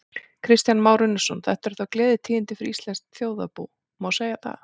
Kristján Már Unnarsson: Þetta eru þá gleðitíðindi fyrir íslenskt þjóðarbú, má segja það?